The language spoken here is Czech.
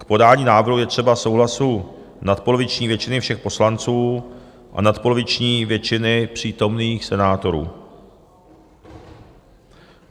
K podání návrhu je třeba souhlasu nadpoloviční většiny všech poslanců a nadpoloviční většiny přítomných senátorů.